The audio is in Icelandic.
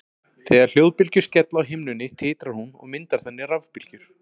Þegar hljóðbylgjur skella á himnunni titrar hún og myndar þannig rafbylgjur.